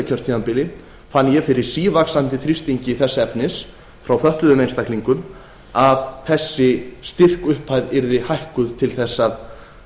kjörtímabili fann ég fyrir sívaxandi þrýstingi þess efnis frá fötluðum einstaklingum að þessi styrkupphæð yfir hækkuð til þess að